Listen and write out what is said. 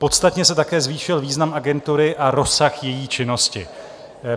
Podstatně se také zvýšil význam agentury a rozsah její činnosti.